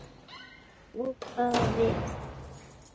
Ókvæða við